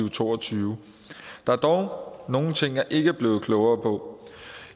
og to og tyve der er dog nogle ting jeg ikke er blevet klogere på